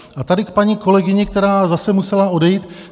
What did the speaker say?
A tady k paní kolegyni, která zase musela odejít.